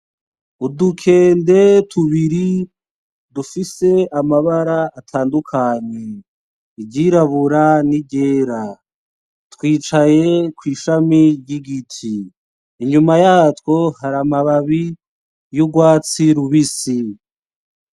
Udukende tubiri dufise amabara atandukanye, iryirabura n'iryera, twicaye kw'ishami ry'igiti. Inyuma yatwo hari amababi y'urwatsi rubisi.